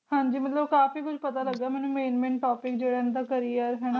ਹਾਂਜੀ ਮਤਲਬ ਕਾਫੀ ਕੁਜ ਪਤਾ ਲਗਿਆ ਮੈਨੂੰ Main Main Topic ਜਿਵੇ ਓਹਨਾ ਦਾ Career ਹਣਾ